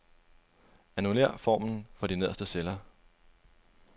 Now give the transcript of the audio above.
Annullér formlen for de nederste celler.